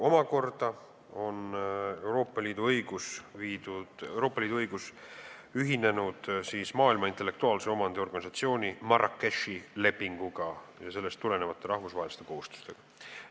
Euroopa Liidu õigus on omakorda ühinenud Maailma Intellektuaalse Omandi Organisatsiooni Marrakechi lepinguga ja sellest tulenevate rahvusvaheliste kohustustega.